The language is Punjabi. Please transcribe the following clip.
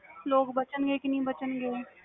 ਲੋਕ ਬਚਨ ਗੇ ਕੇ ਨਹੀਂ ਬਚਨ ਗੇ